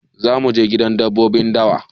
Za mu je gidan dabbobin dawa.